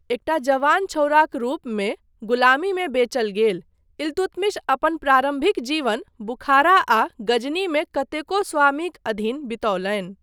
एकटा जवान छौड़ाक रूपमे गुलामीमे बेचल गेल, इल्तुतमिश अपन प्रारम्भिक जीवन बुखारा आ गजनी मे कतेको स्वामीक अधीन बितौलनि।